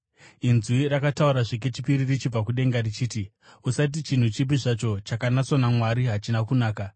“Inzwi rakataurazve kechipiri richibva kudenga richiti, ‘Usati chinhu chipi zvacho chakanatswa naMwari hachina kunaka.’